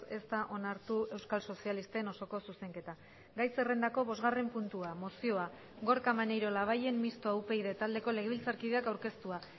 ez da onartu euskal sozialisten osoko zuzenketa gai zerrendako bosgarren puntua mozioa gorka maneiro labayen mistoa upyd taldeko legebiltzarkideak aurkeztua